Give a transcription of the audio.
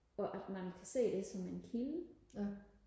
og at man kan se det som en kilde